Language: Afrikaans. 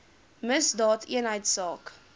misdaadeenheidsaak